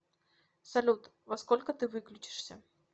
салют во сколько ты выключишься